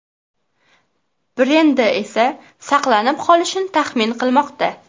brendi esa saqlanib qolishini taxmin qilmoqda.